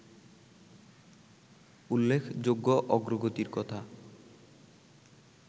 উল্লেখযোগ্য অগ্রগতির কথা